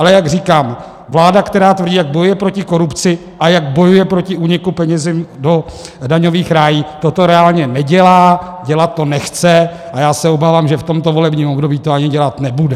Ale jak říkám, vláda, která tvrdí, jak bojuje proti korupci a jak bojuje proti úniku peněz do daňových rájů, toto reálně nedělá, dělat to nechce a já se obávám, že v tomto volebním období to ani dělat nebude.